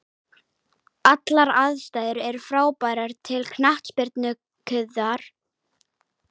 Allar aðstæður er frábærar til knattspyrnuiðkunar, léttur andvari og dropar öðru hverju úr lofti.